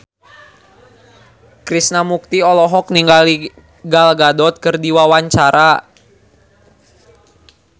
Krishna Mukti olohok ningali Gal Gadot keur diwawancara